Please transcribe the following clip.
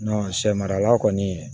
sɛ marala kɔni